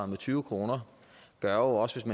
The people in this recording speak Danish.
med tyve kr gør jo også